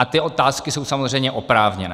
A ty otázky jsou samozřejmě oprávněné.